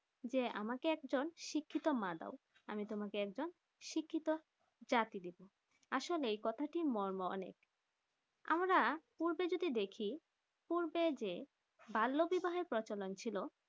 যে আমাকে একজন শিক্ষিত মা দাও আমি তোমাকে একজন শিক্ষিত জাতি দেব আসলে এই কথাটি মর্ম অনেক আমরা পূর্বে যদি দেখি পূর্বে যে বাল্য বিবাহ প্রচলণ ছিল